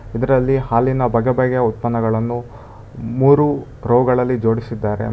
ಇದರಲ್ಲಿ ಹಾಲಿನ ಬಗೆ ಬಗೆ ಉತ್ಪನ್ನಗಳನ್ನು ಮೂರು ರೋ ಗಳಲ್ಲಿ ಜೋಡಿಸಿದ್ದಾರೆ.